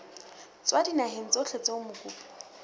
tswa dinaheng tsohle tseo mokopi